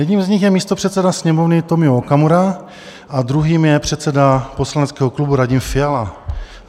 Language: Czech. Jedním z nich je místopředseda Sněmovny Tomio Okamura a druhým je předseda poslaneckého klubu Radim Fiala.